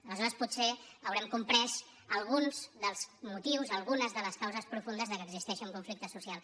aleshores potser haurem comprès alguns dels motius algunes de les causes profundes que existeixi un conflicte social